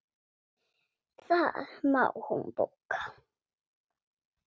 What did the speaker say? Það má hún bóka.